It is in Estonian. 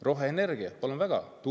Roheenergia, palun väga!